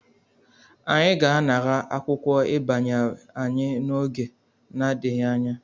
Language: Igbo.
Anyị ga-anara akwụkwọ ịbanye anyị n'oge n'adịghị anya.